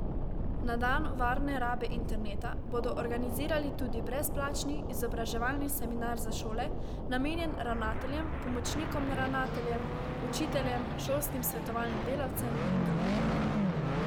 Na dan varne rabe interneta bodo organizirali tudi brezplačni izobraževalni seminar za šole, namenjen ravnateljem, pomočnikom ravnateljev, učiteljem, šolskim svetovalni delavcem in drugim.